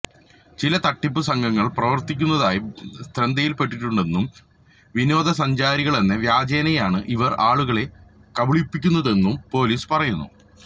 ചില തട്ടിപ്പ് സംഘങ്ങള് പ്രവര്ത്തിക്കുന്നതായി ശ്രദ്ധയില്പെട്ടിട്ടുണ്ടെന്നും വിനോദ സഞ്ചാരികളെന്ന വ്യാജേനയാണ് ഇവര് ആളുകളെ കബളിപ്പിക്കുന്നതെന്നും പൊലീസ് പറയുന്നു